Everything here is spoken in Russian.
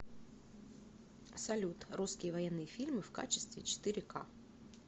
салют русские военные фильмы в качестве четыре ка